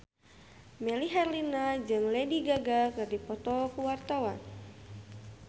Melly Herlina jeung Lady Gaga keur dipoto ku wartawan